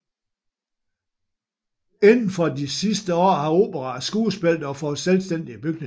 Indenfor de sidste år har opera og skuespil dog fået selvstændige bygninger